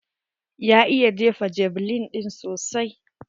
Ya iya jefa javeline ɗin sosai.